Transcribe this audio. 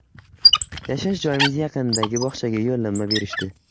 Yashash joyimiz yaqinidagi bog‘chaga yo‘llanma berishdi.